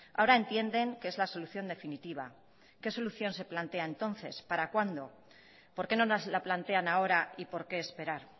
ahora entienden que es la solución definitiva qué solución se plantea entonces para cuándo por qué no nos la plantean ahora y por qué esperar